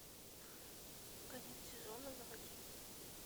конец сезона заводи